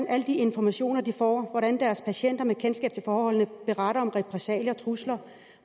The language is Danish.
alle de informationer de får og om hvordan deres patienter med kendskab til forholdene beretter om repressalier trusler